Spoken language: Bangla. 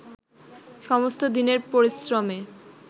সমস্ত দিনের পরিশ্রমে